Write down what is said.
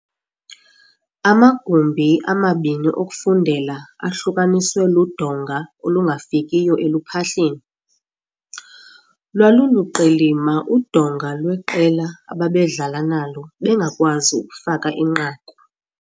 Amagumbi amabini okufundela ahlukaniswe ludonga olungafikiyo eluphahleni. lwaluluqilima udonga lweqela ababedlala nalo bengakwazi ukufaka inqaku.